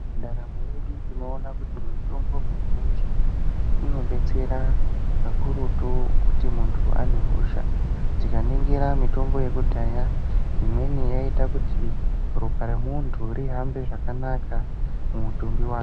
Ndaramo yedu tinoona kuti mitombo mizhinji inodetsera kakurutu kuti muntu ane hosha. Tikaningira mitombo yekudhaya imweni yaiita kuti ropa remuntu rihambe zvakanaka mumutumbi wake.